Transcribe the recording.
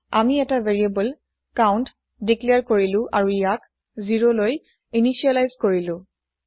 আমি এটা variable count declare কৰিলো আৰু ইয়াক ০লৈ ইনিচিয়েলাইজ কৰিলো